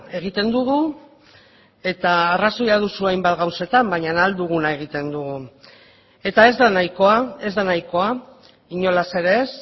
egiten dugu eta arrazoia duzu hainbat gauzetan baina ahal duguna egiten dugu eta ez da nahikoa ez da nahikoa inolaz ere ez